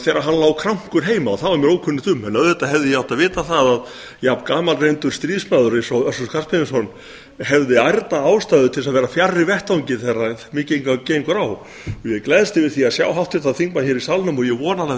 þegar hann lá krankur heima það var mér ókunnugt um en auðvitað hefði ég átt að vita að jafn gamalreyndur stríðsmaður og össur skarphéðinsson hefði ærna ástæðu til að vera fjarri vettvangi þegar mikið gengur á ég gleðst yfir því að sjá háttvirtan þingmann hér í salnum og ég vona að hann hafi